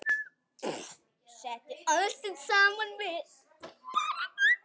Settu ostinn saman við.